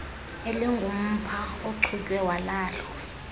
elingumpha ochutywe walahlwa